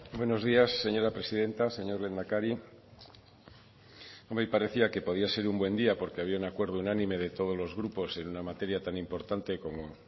buenos días señora presidenta señor lehendakari hoy parecía que podía ser un buen día porque había un acuerdo unánime de todos los grupos en una materia tan importante